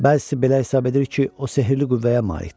Bəzisi belə hesab edir ki, o sehli qüvvəyə malikdir.